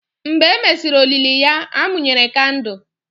Mgbe e mesịrị olili ya, a mụnyere kandụl.